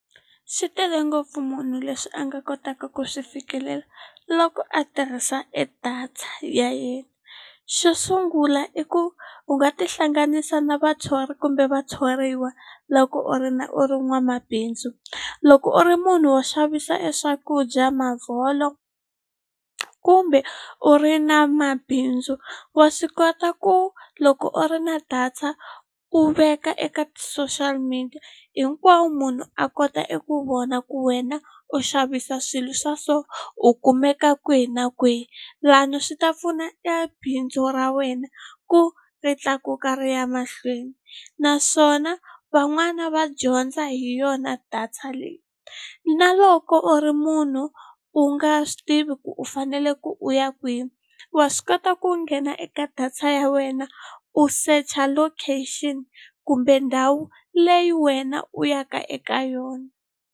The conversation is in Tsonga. Swi tele ngopfu munhu leswi a nga kotaka ku swi fikelela loko a tirhisa e data ya yena xo sungula i ku u nga tihlanganisa na vathori kumbe vathoriwa loko u ri na u ri n'wamabindzu loko u ri munhu wo xavisa e swakudya kumbe u ri na mabindzu wa swi kota ku loko u ri na data u veka eka ti-social media hinkwawo munhu a kota eku vona ku wena u xavisa swilo swa so u kumeka kwihi na kwihi lani swi ta pfuneta bindzu ra wena ku ri tlakuka ri ya mahlweni naswona van'wani va dyondza hi yona data leyi na loko u ri munhu u nga swi tivi ku fanele u ku u ya kwihi wa swi kota ku nghena eka data ya wena u secha location kumbe ndhawu leyi wena u ya ka eka yona.